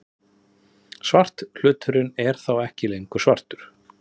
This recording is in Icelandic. Svarthluturinn er þá ekki lengur svartur!